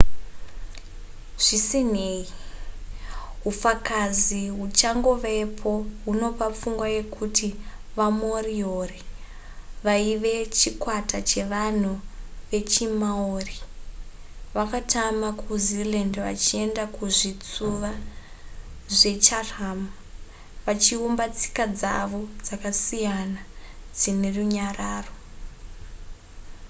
zvisinei hufakazi huchangovepo hunopa pfungwa yekuti vamoriori vaive chikwata chevanhu vechimaori vakatama kuzealand vachienda kuzvitsuva zvechatham vachiumba tsika dzavo dzakasiyana dzine runyararo